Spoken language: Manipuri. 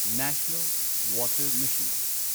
national water mission